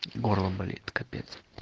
горло болит капец